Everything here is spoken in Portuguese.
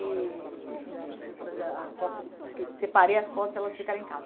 E enfim, preciso trazer a a foto separei as fotos e elas ficaram em casa.